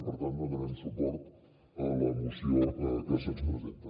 per tant donarem suport a la moció que se’ns presenta